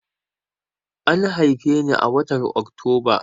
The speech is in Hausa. An haife ni a watar Oktoba.